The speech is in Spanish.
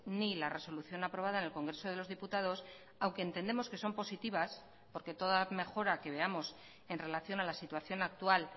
ni la resolución aprobada en el congreso de los diputados aunque entendemos que son positivas porque toda mejora que veamos en relación a la situación actual